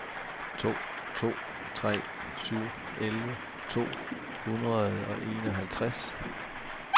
to to tre syv elleve to hundrede og enoghalvtreds